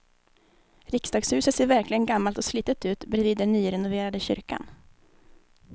Riksdagshuset ser verkligen gammalt och slitet ut bredvid den nyrenoverade kyrkan.